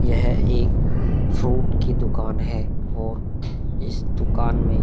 यह एक फ्रूट की दुकान है और इस दुकान मै--